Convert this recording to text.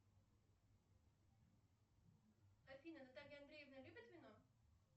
афина наталья андреевна любит вино